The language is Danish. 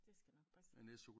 Det skal nok passe